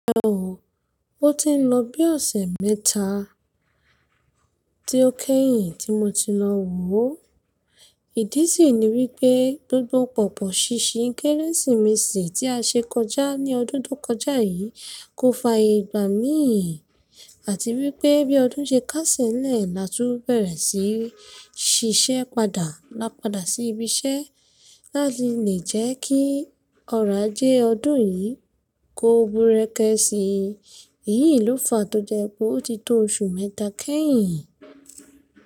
Rárá o, ó ti ń lọ bí ọ̀sẹ̀ mẹ́ta tí ó kẹ́yìn tí mo ti lọ wò ó. Ìdí sì ni wípé gbogbo pọ̀pọ̀ ṣíṣí Kérésìmesì tí a ṣe kọjá ní ọdún tó kọjá yìí kò fa ìgbà mí ì, àti wípé bí ọdún ṣe kásẹ̀ nlẹ̀ láti bẹ̀rẹ̀ sí ṣiṣẹ́ padà, lápadà sí ibiṣẹ́, láti lè jẹ́ kí ọ̀rọ̀ ajé ọdún yìí kó ogun rẹ́gẹ́ síi. Èyí ló fà tó jẹ pé ó ti tó oṣù mẹ́ta kẹ́yìn.